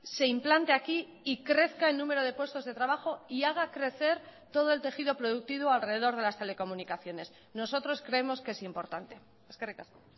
se implante aquí y crezca el número de puestos de trabajo y haga crecer todo el tejido productivo alrededor de las telecomunicaciones nosotros creemos que es importante eskerrik asko